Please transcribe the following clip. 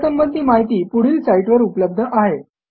यासंबंधी माहिती पुढील साईटवर उपलब्ध आहे